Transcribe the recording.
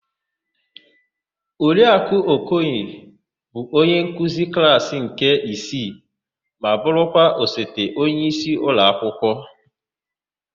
Oriakụ Okoye bụ onyenkuzi klaasỊ nke isii ma bụrụkwa osote onyeisi ụlọakwụkwọ.